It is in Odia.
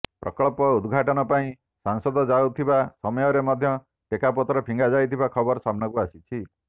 ପ୍ରକଳ୍ପ ଉଦ୍ଘାଟନ ପାଇଁ ସାଂସଦ ଯାଉଥିବା ସମୟରେ ମଧ୍ୟ ଟେକାପଥର ଫିଙ୍ଗାଯାଇଥିବା ଖବର ସାମ୍ନାକୁ ଆସିଛି